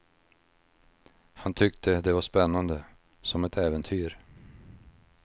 Han tyckte det var spännande, som ett äventyr.